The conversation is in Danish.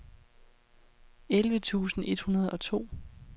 elleve tusind et hundrede og to